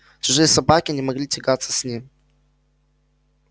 чужие собаки не могли тягаться с ним